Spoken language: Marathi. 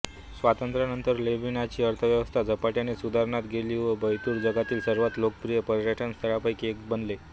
स्वातंत्र्यानंतर लेबेनॉनची अर्थव्यवस्था झपाट्याने सुधारत गेली व बैरूत जगातील सर्वात लोकप्रिय पर्यटनस्थळांपैकी एक बनले